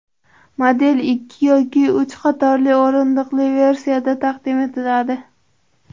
Model ikki yoki uch qatorli o‘rindiqli versiyada taqdim etiladi.